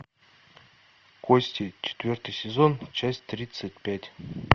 кости четвертый сезон часть тридцать пять